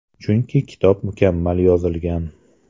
Chunki kitob mukammal yozilgan.